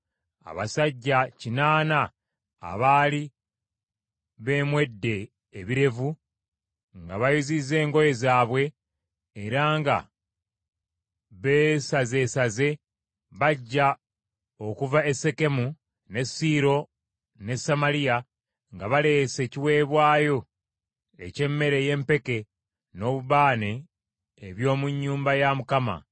abasajja kinaana abaali beemwedde ebirevu, nga bayuzizza engoye zaabwe era nga beesazeesaze, bajja okuva e Sekemu, ne Siiro ne Samaliya, nga baleese ekiweebwayo eky’emmere ey’empeke n’obubaane eby’omu nnyumba ya Mukama .